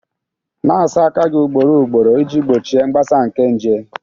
Na-asa aka gị ugboro ugboro iji gbochie mgbasa nke nje.